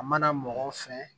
A mana mɔgɔ fɛn